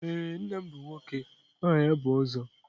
Ee, nna m bụ nwoke aha ya bụ Ozo.